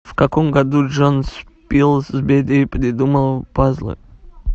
в каком году джон спилсбери придумал пазлы